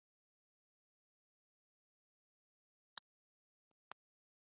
Nú. annar var stór og svartskeggjaður. hinn lítill með krullur.